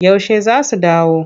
Yaushe za su dawo?